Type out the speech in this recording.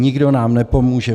Nikdo nám nepomůže.